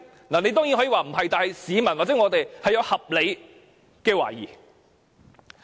你當然可以否認，但市民或我們確有合理的懷疑。